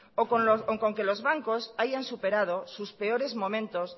o con que los bancos hayan superado sus peores momentos